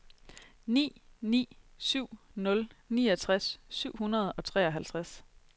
ni ni syv nul niogtres syv hundrede og treoghalvtreds